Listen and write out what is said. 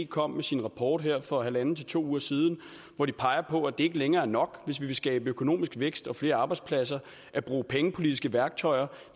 kom med sin rapport her for en en halv to uger siden hvor de peger på det at det ikke længere er nok hvis vi vil skabe økonomisk vækst og flere arbejdspladser at bruge pengepolitiske værktøjer